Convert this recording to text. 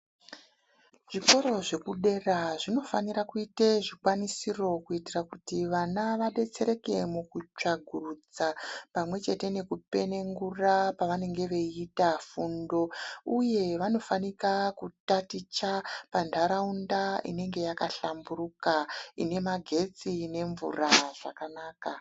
Zvikoro zvekudera zvinofanire kuite zvikwanisiro kuitira kuti vana vadetsereke mukutsvagurudza pamwe chete nekupenengura pavanenge veiita fundo, uye vanofanika kutaticha panharaunda inenge takahlamburuka ine magetsi nemvura zvakanaka.